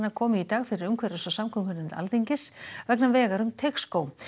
komu í dag fyrir umhverfis og samgöngunefnd Alþingis vegna vegar um Teigsskóg